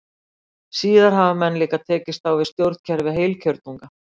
Síðar hafa menn líka tekist á við stjórnkerfi heilkjörnunga.